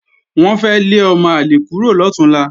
Wọ́n fẹ́ lé ọmọ àlè kúrò lọ̀túnla